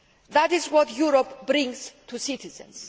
That is what Europe brings to citizens.